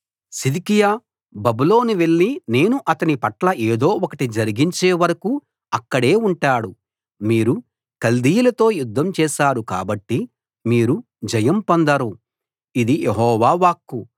సిద్కియా బబులోను వెళ్లి నేను అతని పట్ల ఏదో ఒకటి జరిగించే వరకు అక్కడే ఉంటాడు మీరు కల్దీయులతో యుద్ధం చేశారు కాబట్టి మీరు జయం పొందరు ఇది యెహోవా వాక్కు